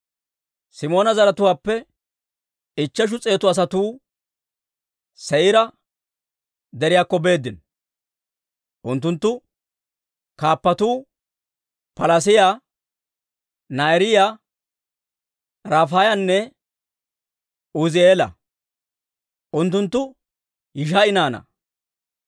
Simoona zaratuwaappe ichcheshu s'eetu asatuu Se'iira Deriyaakko beeddino. Unttunttu kaappatuu Palaas'iyaa, Na'aariyaa, Rafaayanne Uuzi'eela; unttunttu Yishi'a naanaa.